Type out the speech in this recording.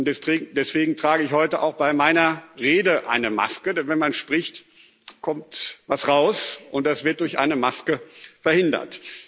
Und deswegen trage ich heute auch bei meiner Rede eine Maske, denn wenn man spricht, kommt etwas raus, und das wird durch eine Maske verhindert.